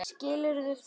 Skilurðu það?